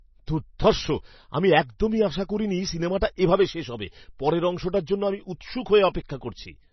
দুর্ধর্ষ! আমি একদমই আশা করিনি সিনেমাটা এভাবে শেষ হবে। পরের অংশটার জন্য আমি উৎসুক হয়ে অপেক্ষা করছি।